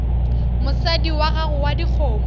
mosadi wa gago wa dikgomo